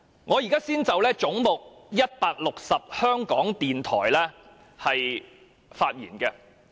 我現在先就"總目 160― 香港電台"發言。